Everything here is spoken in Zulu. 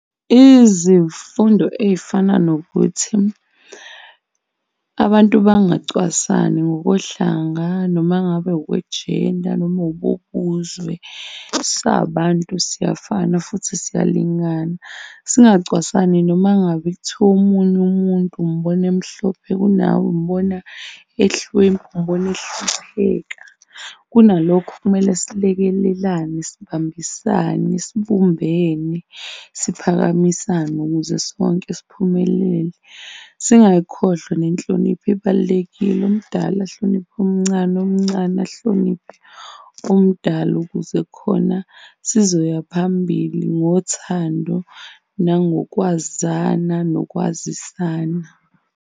Izifundo ey'fana nokuthi abantu bangacwasani ngokohlanga noma ngabe okwe-gender noma ubuzwe. Sabantu, siyafana futhi siyalingana, singacwasani noma ngabe kuthiwa omunye umuntu umbona emhlophe kunawe, umbona ehlwempu, umbona ehlupheka. Kunalokhu kumele silekelelane, sibambisane, sibumbene, siphakamisane ukuze sonke siphumelele. Singayikhohlwa nenhlonipho, ibalulekile. Omdala ahloniphe omncane, omncane ahloniphe omdala ukuze khona sizoya phambili ngothando nangokwazana nokwazisana.